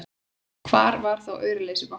Hvar var þá auraleysi bankanna!